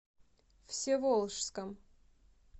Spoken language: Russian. всеволожском